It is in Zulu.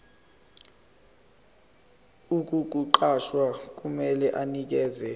ukukuqasha kumele anikeze